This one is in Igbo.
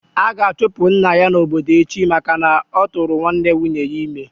A ga-achụpụ nna ya n'obodo echi maka na-oturu nwanne nwunye ya ime